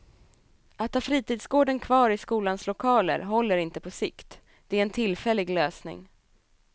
Att ha fritidsgården kvar i skolans lokaler håller inte på sikt, det är en tillfällig lösning.